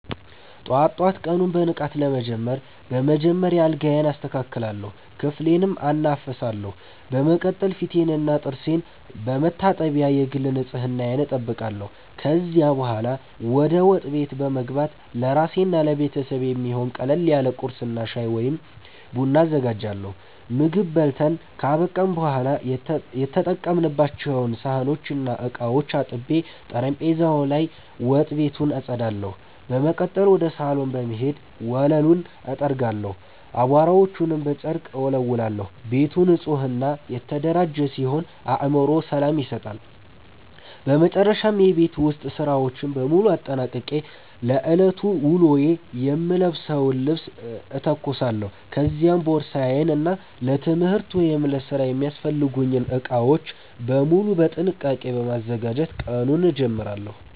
ጠዋት ጠዋት ቀኑን በንቃት ለመጀመር በመጀመሪያ አልጋዬን አስተካክላለሁ፣ ክፍሌንም አናፍሳለሁ። በመቀጠል ፊቴንና ጥርሴን በመታጠብ የግል ንጽህናዬን እጠብቃለሁ። ከዚያ በኋላ ወደ ወጥ ቤት በመግባት ለራሴና ለቤተሰቤ የሚሆን ቀለል ያለ ቁርስ እና ሻይ ወይም ቡና አዘጋጃለሁ። ምግብ በልተን ካበቃን በኋላ የተጠቀሙባቸውን ሳህኖችና ዕቃዎች አጥቤ፣ ጠረጴዛውን እና ወጥ ቤቱን አጸዳለሁ። በመቀጠል ወደ ሳሎን በመሄድ ወለሉን እጠርጋለሁ፣ አቧራዎችንም በጨርቅ እወለውላለሁ። ቤቱ ንጹህና የተደራጀ ሲሆን ለአእምሮ ሰላም ይሰጣል። በመጨረሻም የቤት ውስጥ ሥራዎችን በሙሉ አጠናቅቄ ለዕለቱ ውሎዬ የምለብሰውን ልብስ እተኩሳለሁ፤ ከዚያም ቦርሳዬን እና ለትምህርት ወይም ለሥራ የሚያስፈልጉኝን ዕቃዎች በሙሉ በጥንቃቄ በማዘጋጀት ቀኑን እጀምራለሁ።